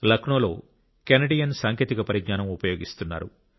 లక్నోలో కెనడియన్ సాంకేతిక పరిజ్ఞానం ఉపయోగిస్తున్నారు